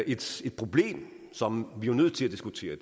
et problem som vi er nødt til at diskutere